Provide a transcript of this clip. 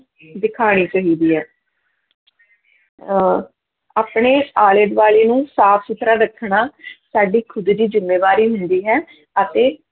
ਦਿਖਾਉਣੀ ਚਾਹੀਦੀ ਹੈ ਅਹ ਆਪਣੇ ਆਲੇ ਦੁਆਲੇ ਨੂੰ ਸਾਫ਼ ਸੁੱਥਰਾ ਰੱਖਣਾ ਸਾਡੀ ਖੁੱਦ ਦੀ ਜ਼ਿੰਮੇਵਾਰੀ ਹੁੰਦੀ ਹੈ ਅਤੇ